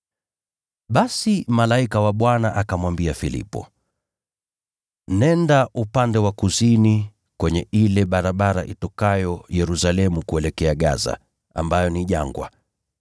Basi malaika wa Bwana akamwambia Filipo, “Nenda upande wa kusini kwenye ile barabara itokayo Yerusalemu kuelekea Gaza ambayo ni jangwa.”